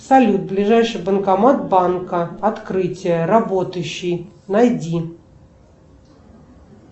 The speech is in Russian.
салют ближайший банкомат банка открытие работающий найди